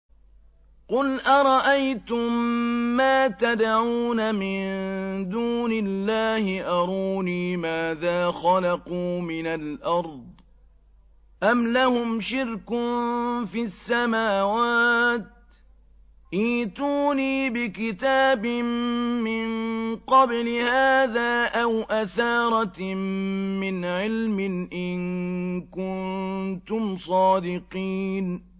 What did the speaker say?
قُلْ أَرَأَيْتُم مَّا تَدْعُونَ مِن دُونِ اللَّهِ أَرُونِي مَاذَا خَلَقُوا مِنَ الْأَرْضِ أَمْ لَهُمْ شِرْكٌ فِي السَّمَاوَاتِ ۖ ائْتُونِي بِكِتَابٍ مِّن قَبْلِ هَٰذَا أَوْ أَثَارَةٍ مِّنْ عِلْمٍ إِن كُنتُمْ صَادِقِينَ